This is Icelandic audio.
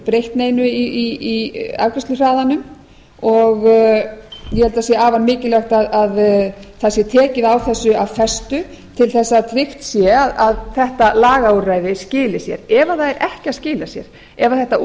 breytt neinu í afgreiðsluhraðanum og ég held að það sé afar mikilvægt að það sé tekið á þessu af festu til að tryggt sé að þetta lagaúrræði skili sér ef það er ekki að skila sér ef þetta